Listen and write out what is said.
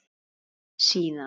Sagði síðan